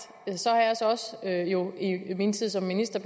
har jeg jo i min tid som minister